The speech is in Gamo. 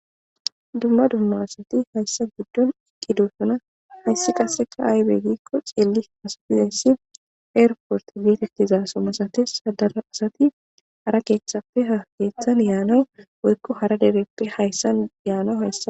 dumma dumma asati hayssa giddon iqqidoosuna missi qaseka aybe gikko xilli asafizayssi eerfort gietettiza somasatis hadara asati hara keeththappe ha keeththan yaana woykko hara direti hayssan yaana hayssa